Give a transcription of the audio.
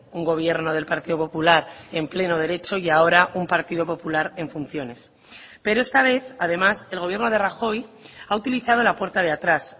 un gobierno del partido popular en pleno derecho y ahora un partido popular en funciones pero esta vez además el gobierno de rajoy ha utilizado la puerta de atrás